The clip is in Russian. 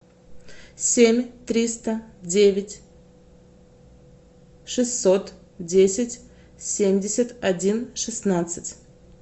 семь триста девять шестьсот десять семьдесят один шестнадцать